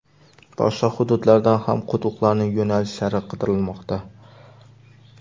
Boshqa hududlardan ham quduqlarning yo‘nalishlari qidirilmoqda.